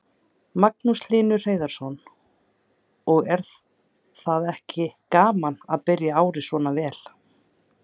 Magnús Hlynur Hreiðarsson: Og er þetta ekki gaman að byrja árið svona vel?